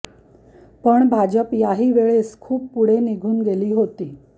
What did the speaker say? पण भाजप याही वेळेस खूप पुढे निघून गेली होती